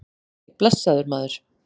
Nei, blessaður, maður.